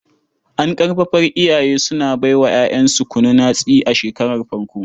An ƙarfafar iyaye suna bai wa 'ya'yansu kunun hatsi a shekarar farko.